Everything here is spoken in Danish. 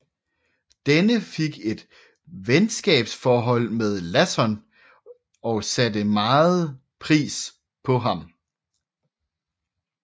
Denne fik et venskabsforhold med Lasson og satte megen pris på ham